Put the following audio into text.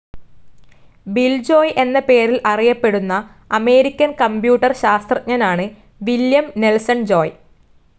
Bill Joy എന്ന പേരിൽ അറിയപ്പെടുന്ന അമേരിക്കൻ കമ്പ്യൂട്ടർ ശാസ്ത്രജ്ഞനാണ് വില്ല്യം നെൽസൺ ജോയ്.